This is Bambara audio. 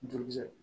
Joli sɛgɛ